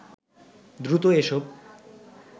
দ্রুত এসব